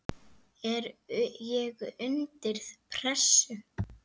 er ég undir pressu?